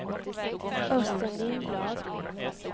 Östen Lindblad